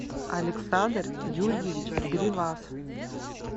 александр юрьевич гривас